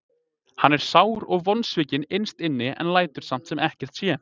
Hann er sár og vonsvikinn innst inni en lætur samt sem ekkert sé.